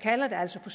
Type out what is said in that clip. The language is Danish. kalder det altså på